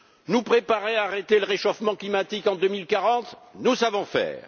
Nous préparer à arrêter le réchauffement climatique en 2040, nous savons faire.